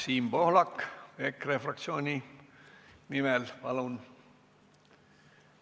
Siim Pohlak EKRE fraktsiooni nimel, palun!